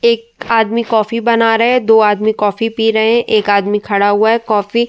एक आदमी कॉफ़ी बना रहा है। दो आदमी कॉफ़ी पी रहे हैं। एक आदमी खड़ा हुआ है। कॉफ़ी --